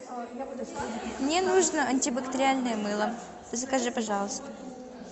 мне нужно антибактериальное мыло закажи пожалуйста